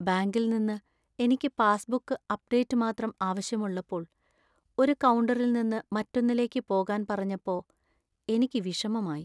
ബാങ്കിൽ നിന്ന് എനിക്ക് പാസ്‌ബുക്ക് അപ്‌ഡേറ്റ് മാത്രം ആവശ്യമുള്ളപ്പോൾ ഒരു കൗണ്ടറിൽ നിന്ന് മറ്റൊന്നിലേക്ക് പോകാൻ പറഞ്ഞപ്പോ എനിക്ക് വിഷമമായി.